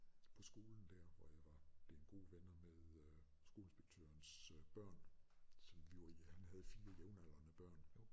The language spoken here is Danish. På skolen dér hvor jeg var blevet gode venner med øh skoleinspektørens børn som han havde 4 jævnaldrende børn